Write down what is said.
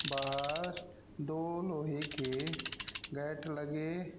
बाहर दो लोहे के गेट लगे--